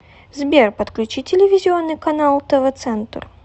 сбер подключи телевизионный канал тв центр